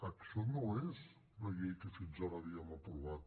això no és la llei que fins ara havíem aprovat